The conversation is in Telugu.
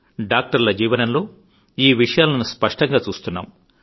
డాక్టర్ల జీవనంలో ఈ విషయాలను స్పష్టంగా చూస్తున్నాం